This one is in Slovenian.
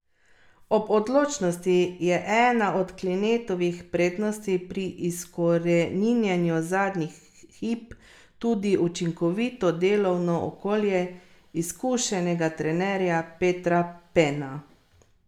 Simčič je vse navedbe o ponarejanju zanikal, odpust iz vojske pa pripisuje drugim dejavnikom.